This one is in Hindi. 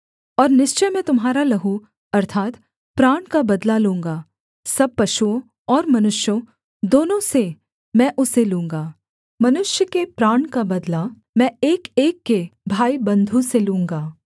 और निश्चय मैं तुम्हारा लहू अर्थात् प्राण का बदला लूँगा सब पशुओं और मनुष्यों दोनों से मैं उसे लूँगा मनुष्य के प्राण का बदला मैं एकएक के भाईबन्धु से लूँगा